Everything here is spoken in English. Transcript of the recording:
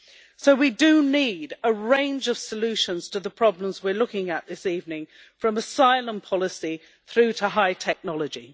So we do need a range of solutions to the problems we are looking at this evening, from asylum policy through to high technology.